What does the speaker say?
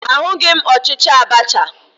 Ahụghị m ọchịchị Abacha